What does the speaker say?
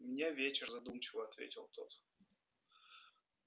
у меня вечер задумчиво ответил тот